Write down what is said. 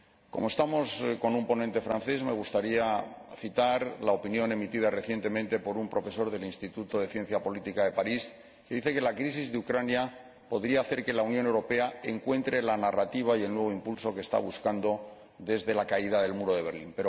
Como el ponente es francés, me gustaría citar la opinión emitida recientemente por un profesor del Instituto de Ciencias Políticas de París, que dice que la crisis de Ucrania podría hacer que la Unión Europea encuentre la narrativa y el nuevo impulso que está buscando desde la caída del muro de Berlín.